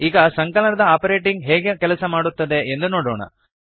ಈಗ ಸಂಕಲನ ದ ಆಪರೇಟರ್ ಹೇಗೆ ಕೆಲಸ ಮಾಡುತ್ತದೆ ಎಂದು ನೋಡೋಣ